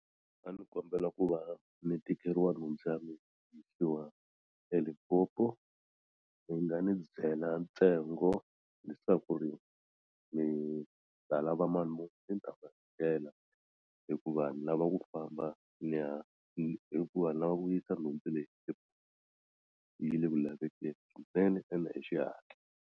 A ndzi kombela ku va ni tekeriwa nhundzu ya mina yisiwa eLimpopo mi nga ni byela ntsengo leswaku ri mi ta lava mali muni ni ta hakela hikuva ni lava ku famba ni ya hi hikuva ni lava ku yisa nhundzu leyi yi le ku lavekeni swinene ende hi xihatla.